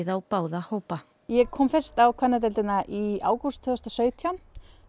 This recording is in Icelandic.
á báða hópa ég kom fyrst á kvennadeildina í ágúst tvö þúsund og sautján